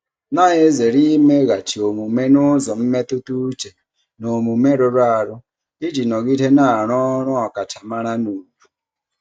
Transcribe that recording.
na-ezere imeghachi omume n'ụzọ mmetụta uche na omume rụrụ arụ iji nọgide na-arụ ọrụ ọkachamara na ùgwù.